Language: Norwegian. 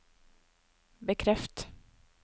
bekreft